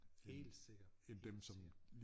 Helt sikkert helt sikkert